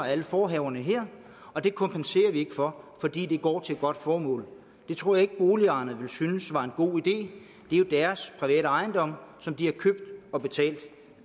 af alle forhaverne her og det kompenserer vi ikke for fordi det går til et godt formål det tror jeg ikke boligejerne ville synes var en god idé det er jo deres private ejendom som de har købt og betalt